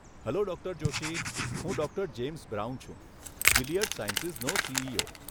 Hello doctor Joshi. હું doctor James Brown છું, Gilead સાયન્સીસનો સીઈઓ.